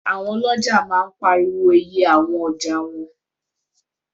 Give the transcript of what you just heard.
Àwọn ọlọ́ja máa ń pariwo iye àwọn ọjà wọn